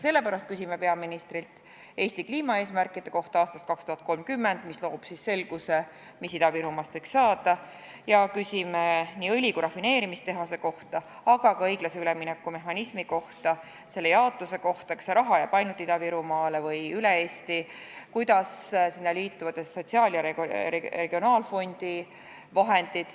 Sellepärast küsime peaministrilt Eesti kliimaeesmärkide kohta aastaks 2030, mis loob siis selguse, mis Ida-Virumaast võiks saada, ja küsime nii õli- kui ka rafineerimistehase kohta, aga ka õiglase ülemineku fondi raha jaotamise mehhanismi kohta: kas see raha jääb ainult Ida-Virumaale või jaotatakse üle Eesti, kuidas sellega liituvad sotsiaal- ja regionaalfondi vahendid.